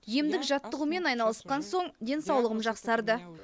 емдік жаттығумен айналысқан соң денсаулығым жақсарды